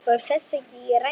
Fór þessi ekki ræsið?